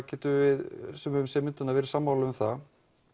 getum við sem höfum séð myndina verið sammála um það